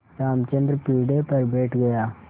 रामचंद्र पीढ़े पर बैठ गया